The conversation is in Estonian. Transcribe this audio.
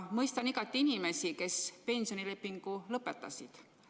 Mõistan igati inimesi, kes pensionilepingu lõpetasid.